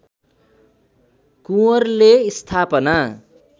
कुँवरले स्थापना